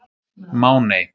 Máney